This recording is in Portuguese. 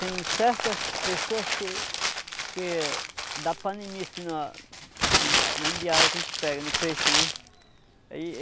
Tem certas pessoas que que da panimice na na embiara que a gente pega, no peixe, né? Aí